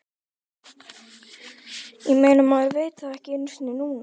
Ég meina, maður veit það ekki einu sinni núna.